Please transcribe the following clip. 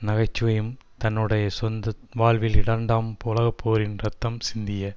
நகைச்சுவையும் தன்னுடைய சொந்த வாழ்வில் இரண்டாம் உலகப்போரின் இரத்தம் சிந்திய